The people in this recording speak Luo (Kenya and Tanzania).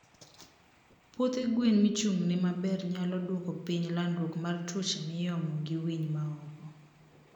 puothe gwen michungne maber nyalo duoko piny landruok mar tuoche miomo gi winy maoko